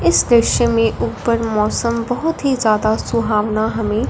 इस दृश्य में ऊपर मौसम बहुत ही ज्यादा सुहावना हमें--